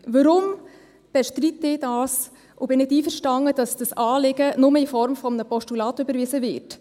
Weshalb bestreite ich das und bin nicht einverstanden, dass dieses Anliegen nur in Form eines Postulats überwiesen wird?